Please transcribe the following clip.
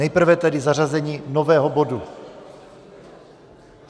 Nejprve tedy zařazení nového bodu.